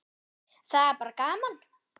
Það er bara gaman